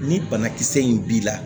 Ni banakisɛ in b'i la